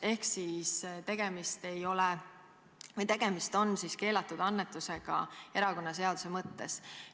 Ehk siis tegemist on keelatud annetusega erakonnaseaduse mõttes.